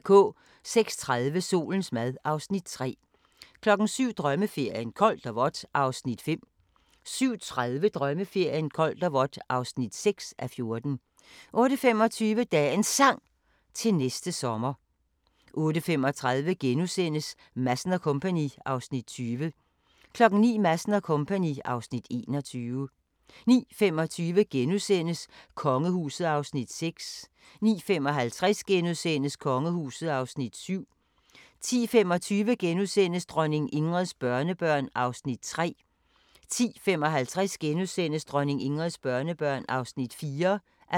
06:30: Solens mad (Afs. 3) 07:00: Drømmeferien: Koldt og vådt (5:14) 07:30: Drømmeferien: Koldt og vådt (6:14) 08:25: Dagens Sang: Til næste sommer 08:35: Madsen & Co. (Afs. 20)* 09:00: Madsen & Co. (Afs. 21) 09:25: Kongehuset (Afs. 6)* 09:55: Kongehuset (Afs. 7)* 10:25: Dronning Ingrids børnebørn (3:5)* 10:55: Dronning Ingrids børnebørn (4:5)*